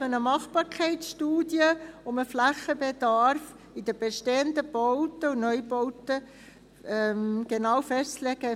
2018 machte man eine Machbarkeitsstudie, um den Flächenbedarf in den bestehenden Bauten und Neubauten genau festzulegen.